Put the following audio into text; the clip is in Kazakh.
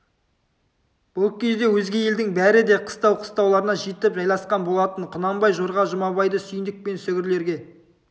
бұл кезде өзге елдің бәрі де қыстау-қыстауларына жетіп жайласқан болатын құнанбай жорға жұмабайды сүйіндік пен сүгірлерге